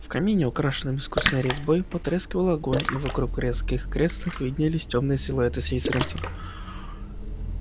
в камине украшенном искусной резьбой потрескивал огонь и вокруг в резных креслах виднелись тёмные силуэты слизеринцев